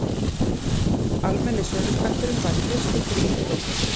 almenni söluskatturinn var í fyrstu þrír prósent